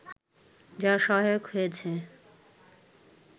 যা সহায়ক হয়েছে